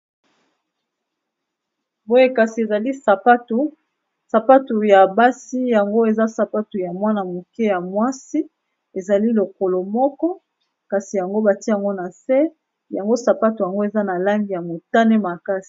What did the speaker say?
Boye kasi ezali sapatu ya basi yango eza sapatu ya mwana moke ya mwasi ezali lokolo moko kasi yango batiango na se yango sapatu yango eza na langi ya motane makasi.